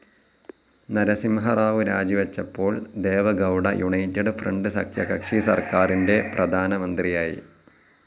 നരസിഹറാവു രാജിവച്ചപ്പോൾ Deve Gowda united front സഖ്യകക്ഷി സർക്കാറിൻ്റെ പ്രധാനമന്ത്രിയായി.